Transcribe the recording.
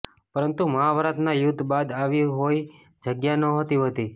પરંતુ મહાભારતના યુદ્ધ બાદ આવી કોઈ જગ્યા નહોતી વધી